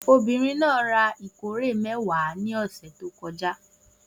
Obìnrin náà ra ìkórè mẹ́wàá ní ọ̀sẹ̀ tó kọjá.